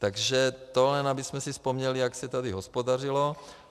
Takže to jen abychom si vzpomněli, jak se tady hospodařilo.